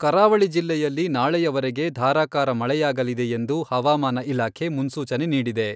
ಕರಾವಳಿ ಜಿಲ್ಲೆಯಲ್ಲಿ ನಾಳೆಯವರೆಗೆ ಧಾರಾಕಾರ ಮಳೆಯಾಗಲಿದೆ ಎಂದು ಹವಾಮಾನ ಇಲಾಖೆ ಮುನ್ಸೂಚನೆ ನೀಡಿದೆ.